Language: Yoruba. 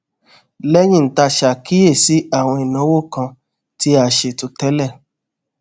léyìn tá a ṣàkíyèsí àwọn ìnáwó kan tí a kò ṣètò télè